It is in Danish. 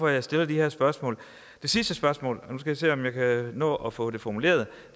jeg stiller de her spørgsmål det sidste spørgsmål og nu jeg se om jeg kan nå at få det formuleret